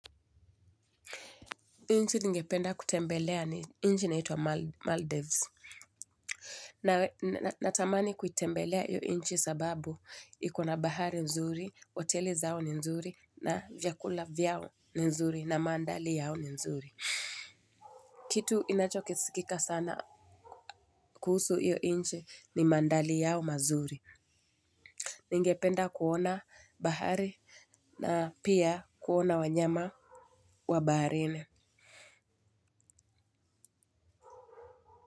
Nchi ningependa kutembelea ni nchi inaitwa Maldives. Natamani kuitembelea hiyo nchi sababu iko na bahari nzuri, hoteli zao ni nzuri na vyakula vyao ni nzuri na mandhari yao ni nzuri. Kitu inachokisikika sana kuhusu hiyo nchi ni mandhari yao mazuri. Ningependa kuona bahari na pia kuona wanyama wa baharini.